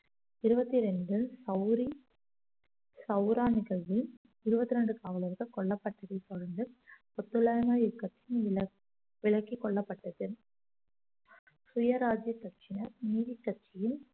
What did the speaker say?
இருபத்தி ரெண்டில் சௌரி சௌரா நிகழ்வு இருபத்தி ரெண்டு காவலர்கள் கொல்லப்பட்டதை தொடர்ந்து ஒத்துழையாமை இயக்கத்துக்கு விள~ விலக்கிக் கொள்ளப்பட்டது சுயராஜ்ஜிய கட்சியினர் நீதிக்கட்சியில்